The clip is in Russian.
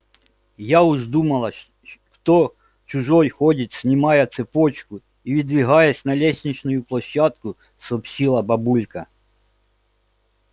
я уж думала кто чужой ходит снимая цепочку и выдвигаясь на лестничную площадку сообщила бабулька